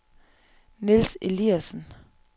Niels Eliasen